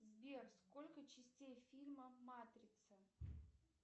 сбер сколько частей фильма матрица